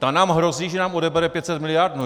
Ta nám hrozí, že nám odebere 500 miliard?